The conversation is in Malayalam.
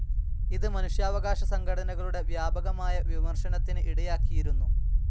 ഇത് മനുഷ്യാവകാശ സംഘടനകളുടെ വ്യാപകമായ വിമർശനത്തിന് ഇടയാക്കിയിരുന്നു.